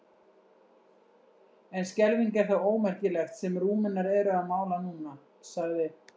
En skelfing er það ómerkilegt sem Rúmenar eru að mála núna, sagði